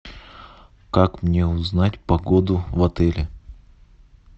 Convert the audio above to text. как мне узнать погоду в отеле